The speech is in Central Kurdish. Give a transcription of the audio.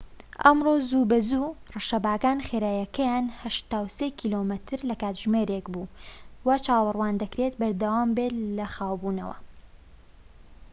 ئەمڕۆ زووبەزوو، ڕەشەباکان خێراییەکەیان ٨٣ کیلۆمەتر/کاتژمێرێك بوو، وا چاوەڕوان دەکرێت بەردەوامبێت لە خاوبوونەوە